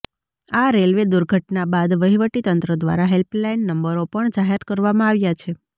આ રેલવે દુર્ઘટના બાદ વહીવટી તંત્ર દ્વારા હેલ્પલાઈન નંબરો પણ જાહેર કરવામાં આવ્યા છે